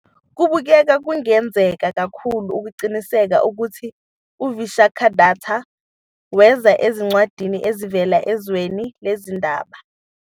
Kubukeka kungenzeka kakhulu, eqinisweni, ukuthi uVishakhadatta weza ezincwadini ezivela ezweni lezindaba.